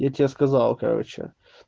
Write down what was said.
я тебе сказал короче